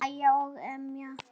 Hlæja og emja.